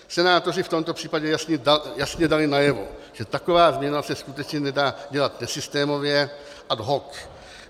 Senátoři v tomto případě jasně dali najevo, že taková změna se skutečně nedá dělat nesystémově ad hoc.